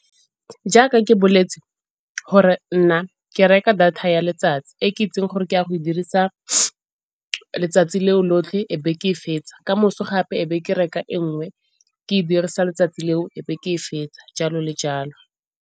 Jaaka ke boletse gore nna ke reka data ya letsatsi e ke itseng gore ke ya go e dirisa letsatsi le o lotlhe e be ke e fetsa. Kamoso gape e be ke reka e nngwe ke e dirisa letsatsi le o e be ke e fetsa jalo le jalo.